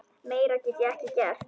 Meira get ég ekki gert.